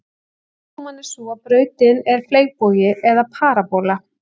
Útkoman er sú að brautin er fleygbogi eða parabóla.